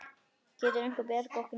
Getur einhver bjargað okkur núna?